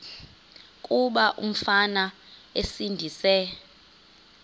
kuba umfana esindise